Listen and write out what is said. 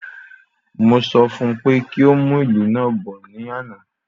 Mo sọ fún pé kí o mu ilu naa bọ̀ ní àna